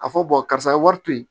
A fɔ karisa ye wari to ye